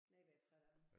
Nej hvor jeg træt af dem